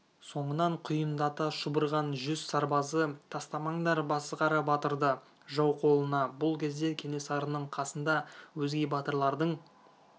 соңынан құйындата шұбырған жүз сарбазы тастамаңдар басықара батырды жау қолына бұл кезде кенесарының қасында өзге батырлардың